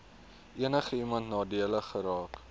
enigiemand nadelig geraak